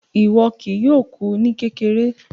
Iwọ kìí yòọ̀ kú ní kékèrè